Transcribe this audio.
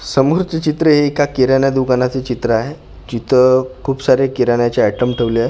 समोरचं चित्र हे एका किराणा दुकानाचं चित्र आहे जिथ खूप सारे किरणाचे आयटम ठेवले आहे खू--